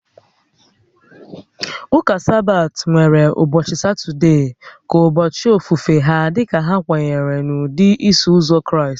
Ụka Sabbath nwere ụbọchị Satọde ka ụbọchị ofufe ha dika ha kwenyere n'ụdị Iso Ụzọ Kraịst oge ochie